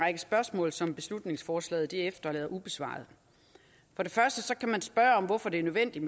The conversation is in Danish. spørgsmål som beslutningsforslaget efterlader ubesvarede for det første kan man spørge om hvorfor det er nødvendigt